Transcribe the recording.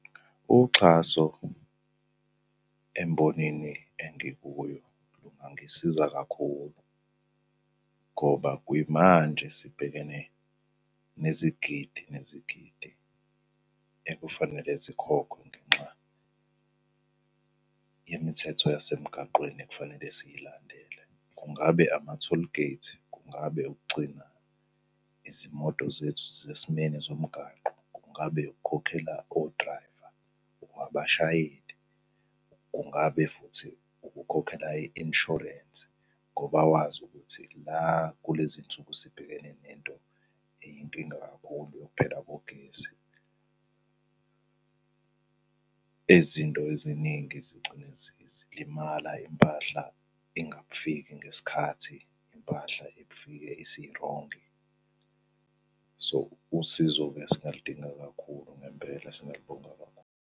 Uxhaso embonini engikuyo lungangisiza kakhulu, ngoba kuyimanje sibhekene nezigidi nezigidi ekufanele zikhokhwe ngenxa yemithetho yasemgaqweni ekufanele siyilandela. Kungabe ama-tollgate, kungabe ukugcina izimoto zethu zisesimeni zomgaqo. Kungabe ukukhokhela odrayva noma abashayeli. Kungabe futhi ukukhokhela i-inshorensi ngoba wazi ukuthi la kulezi nsuku sibhekene nento eyinkinga kakhulu yokuphela kogesi. Ezinto eziningi zigcine zilimala, impahla ingafiki ngesikhathi, impahla ifike isirongi. So, usizo-ke singalidingi kakhulu ngempela singalibonga kakhulu.